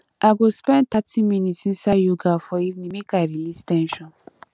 i go spend thirty minutes inside yoga for evening make i release ten sion